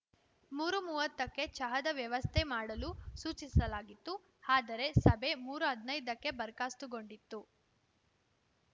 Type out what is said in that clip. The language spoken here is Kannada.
ಮೂರುಮೂವತ್ತಕ್ಕೆ ಚಹಾದ ವ್ಯವಸ್ಥೆ ಮಾಡಲು ಸೂಚಿಸಲಾಗಿತ್ತು ಆದರೆ ಸಭೆ ಮೂರುಹದಿನೈದಕ್ಕೇ ಬರ್ಖಾಸ್ತುಗೊಂಡಿತು